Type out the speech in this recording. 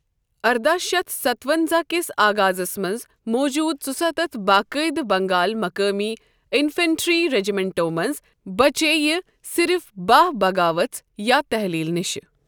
ارداہ شتھ ستہٕ ونزاہ کِس آغازس منٛز موجودٕ ژُستتھ باقٲعدٕ بنگال مقٲمی انفنٹری رجمنٹو منٛز بچے یہِ صِرف بَہہ بغاوژ یا تحلیل نشہِ۔